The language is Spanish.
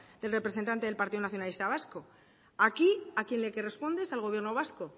del representante del partido nacionalista vasco aquí a quien le corresponde es al gobierno vasco